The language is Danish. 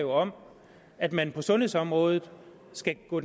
om at man på sundhedsområdet skal gå